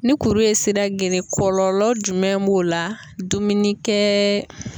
Ni kuru ye sira geren kɔlɔlɔ jumɛn b'o la dumuni kɛɛɛ